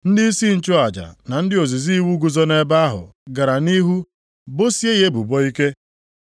Ndịisi nchụaja na ndị ozizi iwu guzo nʼebe ahụ gara nʼihu bosie ya ebubo ike.